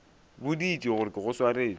boditše gore ke go swaretše